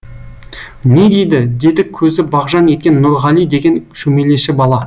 не дейді деді көзі бағжаң еткен нұрғали деген шөмелеші бала